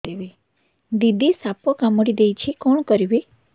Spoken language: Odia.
ଦିଦି ସାପ କାମୁଡି ଦେଇଛି କଣ କରିବି